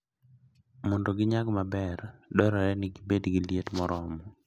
Mondo ginyag maber, dwarore ni gibed gi liet moromo.